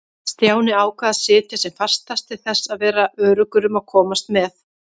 Stjáni ákvað að sitja sem fastast til þess að vera öruggur um að komast með.